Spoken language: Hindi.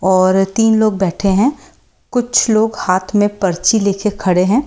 और तीन लोग बैठे हैं कुछ लोग हाथ में पर्ची लेकर खड़े हैं।